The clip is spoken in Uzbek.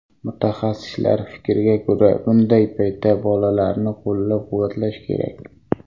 Mutaxassislar fikriga ko‘ra, bunday paytda bolalarni qo‘llab-quvvatlash kerak.